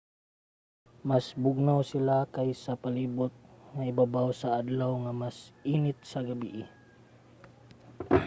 mas bugnaw sila kaysa sa palibot nga ibabaw sa adlaw ug mas init sa gabii